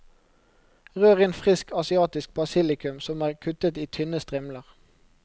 Rør inn frisk asiatisk basilikum, som er kuttet i tynne strimler.